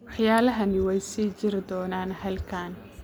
Waxyaalahani way sii jiri doonaan halkan